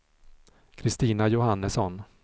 Kristina Johannesson